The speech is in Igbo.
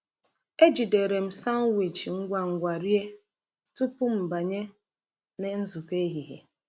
Ejidere m sanwichi ngwa ngwa rie tupu m banye na nzukọ ehihie.